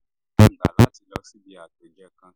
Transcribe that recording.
láti lọ síbi àpèjẹ kan